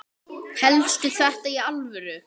Hélstu þetta í alvöru?